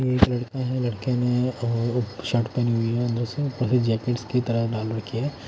एक लड़का है लड़के ने और शर्ट पहनी हुई है अंदर से भले जैकेट की तरह डाल रखी है--